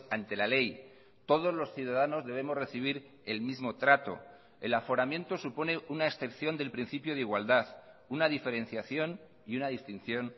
ante la ley todos los ciudadanos debemos recibir el mismo trato el aforamiento supone una excepción del principio de igualdad una diferenciación y una distinción